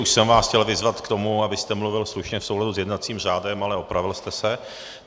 Už jsem vás chtěl vyzvat k tomu, abyste mluvil slušně v souladu s jednacím řádem, ale opravil jste se.